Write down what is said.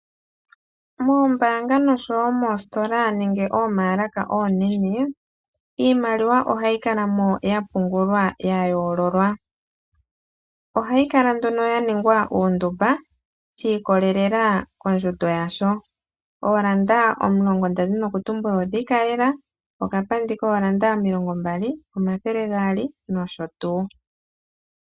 Moombaanga noshowo moositola nenge omamaalaka omanene iimaliwa ohayi kala mo yapungulwa ya yoololwa. Ohayi kala nduno ya ningwa uundumba shi ikolelela kondjundo yawo. Ooranda omulongo nda dhini okutumbula odhi ikalela, okapandi kooranda omilongo mbali, omathele gaali nosho tuu.